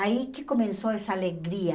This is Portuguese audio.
Aí que começou essa alegria.